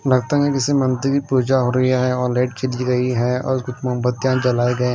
लगता है कि जैसे मंत्री पूजा हो रही है और लाइट चली गई है और कुछ मोमबत्तियां जलाए गए--